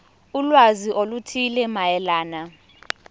ulwazi oluthile mayelana